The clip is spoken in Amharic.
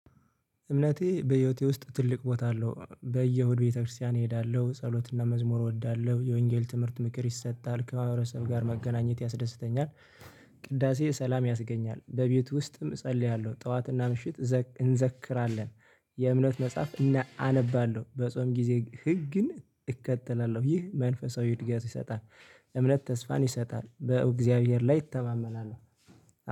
እምነቴ በህይወቴ ውስጥ ትልቅ ቦታ አለው በየእሁድ ቤተክርስቲያን እሄዳለሁ ጸሎትና መዝሙር እወዳለሁ የወንጌል ትምህርት ምክር ይሰጣል ከማህበረሰብ ጋር መገናኘት ያስደስተኛል። ቅዳሴ ሰላም ያስገኛል በቤቱ ውስጥም እጸልያለሁ ጠዋትና ምሽት እንዘክራለን። የእምነት መጽሐፍ አነባለሁ። በጾም ጊዜ ህግን እከተላለሁ ይህ መንፈሳዊ እድገት ይሰጣል። እምነት ተስፋን ይሰጣል በእግዚአብሔር ላይ እተማመናለሁ